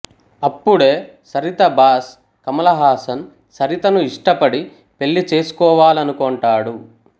అప్పుడే సరిత బాస్ కమల్ హాసన్ సరితను ఇష్టపడి పెళ్ళి చేసుకోవాలనుకొంటాడు